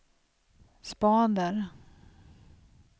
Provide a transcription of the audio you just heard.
spader